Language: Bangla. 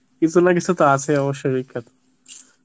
কোন কিছু তো আছেই অবশ্যই বিখ্যাত